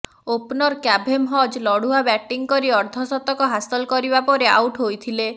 opener Kavem Hodge ଲଢ଼ୁଆ ବ୍ୟାଟିଂକରି ଅର୍ଦ୍ଧଶତକ ହାସଲ କରିବା ପରେ ଆଉଟ ହୋଇଥିଲେ